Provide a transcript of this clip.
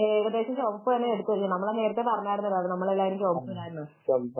ഏകദേശം ചുമപ്പ് തന്നെയാണ് എടുത്തിരിക്കുന്നത് നമ്മൾ എല്ലാരും നേരെത്തെ പറഞ്ഞതല്ലേ നമ്മളെല്ലാരും ചുമപ്പ് ഇടാമെന്നു